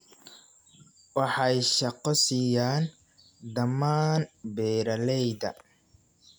Waxay shaqo siiyaan dhammaan beeralayda.